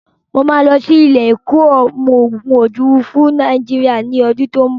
Mo máa lọ sí ilé-ẹ̀kọ́ ọmọgun ojúòfurufú Nàìjíríà ní ọdún tó n bọ̀.